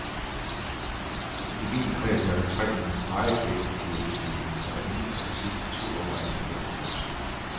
I min kreds er der tre meget effektive og dygtige mennesker, der inden for de sidste to år er endt med at kollapse.